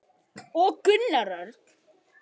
Gunnar Örn.